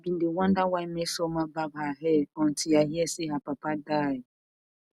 i bin dey wonder why mmesoma barb her hair until i hear say her papa die